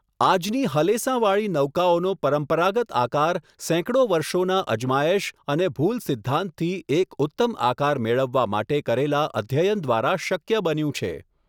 આજની હલેસાં વાળી નૌકાઓનો પરંપરાગત આકાર સેંકડો વર્ષોના અજમાયશ અને ભૂલ સિદ્ધાંતથી એક ઉત્તમ આકાર મેળવવા માટે કરેલા અધ્યયન દ્વારા શક્ય બન્યું છે.